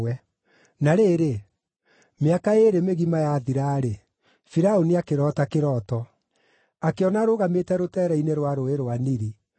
Na rĩrĩ, mĩaka ĩĩrĩ mĩgima yathira-rĩ, Firaũni akĩroota kĩroto: Akĩona arũgamĩte rũteere-inĩ rwa Rũũĩ rwa Nili;